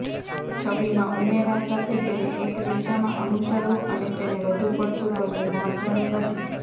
છબીમાં ઉમેરા સાથે તેને એક દિશામાં અનુસરવું અને તેને વધુપડતું કરવું મહત્વનું નથી